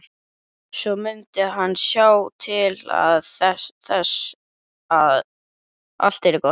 Svo mundi hann sjá til þess að allt yrði gott.